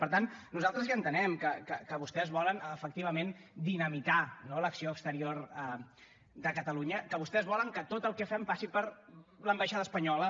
per tant nosaltres ja entenem que vostès volen efectivament dinamitar no l’acció exterior de catalunya que vostès volen que tot el que fem passi per l’ambaixada espanyola